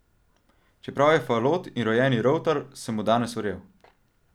Čeprav je falot in rojeni rovtar, sem mu danes verjel.